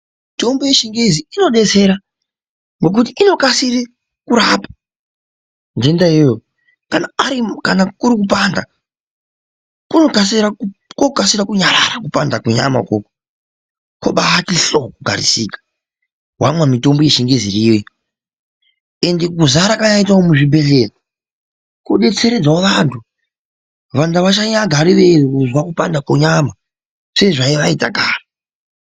Mitombo yechingezi inobetsera ngokuti unokasire kurapa njenda iyoyo kana urikupanda kunok kasira kunyarara kupanda kwenyama ikoko kubaiti hloo kugarisika wamwa mitombo yechingezi iriyo iyoo ended kuzara kwayaitawo muzvibhedhleya kubetseredzawo vandu vandu vasagare veyizwa kubanda kwenyama.